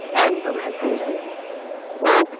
একদম একদম জানাবো okay